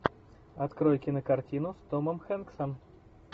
открой кинокартину с томом хэнксом